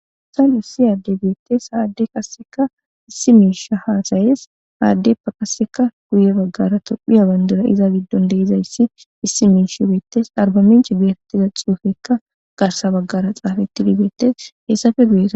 Issaan hussi aaddebeette haadde qasseka issi miisha haasayes haaddeppa qasseka guye baggara tophiya bandira iza giddon deizayssi issi miishi weettes arbaminchi geetettiza xuufekka garsa baggara xaafatti dibeetes heessafe guyesa